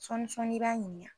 Sɔɔnin sɔɔnin, i b'a ɲininka